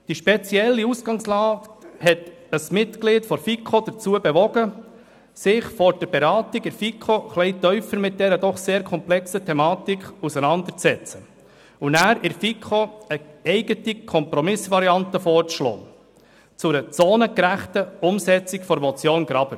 Diese spezielle Ausgangslage bewog ein Mitglied der FiKo, sich vor der Beratung in der Kommission eingehender mit der doch sehr komplexen Thematik auseinanderzusetzen und danach der FiKo eine eigene Kompromissvariante vorzuschlagen zu einer zonengerechten Umsetzung der Motion Graber.